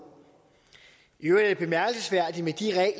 i øvrigt